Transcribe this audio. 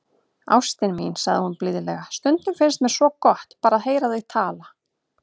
Ástin mín, sagði hún blíðlega,- stundum finnst mér svo gott, bara að heyra þig tala.